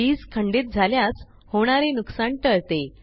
वीज खंडित झाल्यास होणारे नुकसान टळते